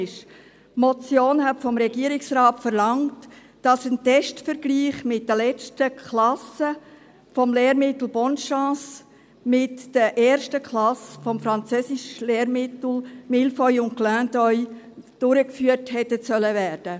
Die Motion hat vom Regierungsrat verlangt, dass ein Testvergleich mit den letzten Klassen mit dem Lehrmittel «Bonne Chance» und den ersten Klassen mit dem Französischlehrmittel «Mille feuilles» und «Clin d’œil» durchgeführt wird.